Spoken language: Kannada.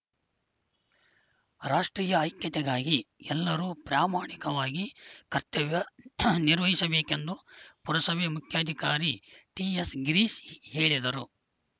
ರಾಷ್ಟ್ರೀಯ ಐಕ್ಯತೆಗಾಗಿ ಎಲ್ಲರೂ ಪ್ರಾಮಾಣಿಕವಾಗಿ ಕರ್ತವ್ಯ ನಿರ್ವಹಿಸಬೇಕೆಂದು ಪುರಸಭೆ ಮುಖ್ಯಾಧಿಕಾರಿ ಟಿಎಸ್‌ಗಿರೀಶ್‌ ಹೇಳಿದರು